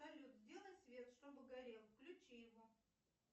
салют сделай свет чтобы горел включи его